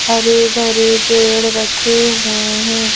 हरे भरे पेड़ रखे हुए हैं।